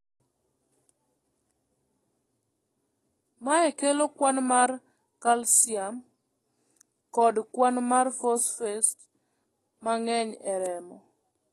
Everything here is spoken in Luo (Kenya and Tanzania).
Mae kelo kwan mar kalsium kod kwan mar fosfet mang'eny e remo.